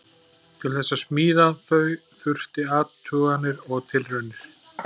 Til þess að smíða þau þurfti athuganir og tilraunir.